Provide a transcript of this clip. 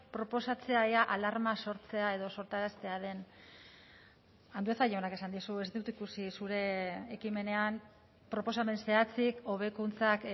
proposatzea ea alarma sortzea edo sortaraztea den andueza jaunak esan dizu ez dut ikusi zure ekimenean proposamen zehatzik hobekuntzak